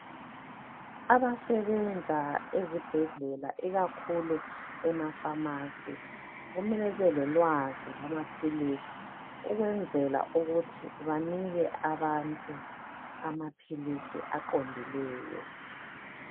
Abasebenza ezibhedlela ikakhulu ema pharmacy kumele bebelolwazi lwamaphilisi ukwenzela ukuthi banike abantu amaphilisi aqondileyo.